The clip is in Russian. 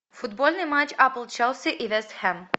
футбольный матч апл челси и вест хэм